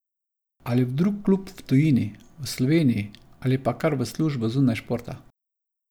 Ali v drug klub v tujini, v Sloveniji ali pa kar v službo zunaj športa.